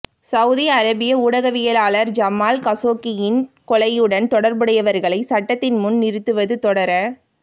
Saudi அரேபிய ஊடகவியலாளர் Jamal கஷோகியின் கொலையுடன் தொடர்புடையவர்களை சட்டத்தின் முன் நிறுத்துவது தொடர